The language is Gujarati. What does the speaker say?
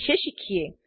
વિષે શીખીએ